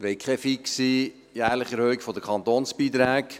Wir wollen keine fixe jährliche Erhöhung der Kantonsbeiträge.